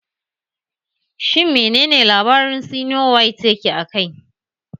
Shin mene ne labarin sinowite yake a kai?